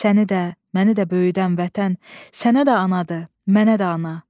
Səni də, məni də böyüdən vətən, sənə də anadır, mənə də ana.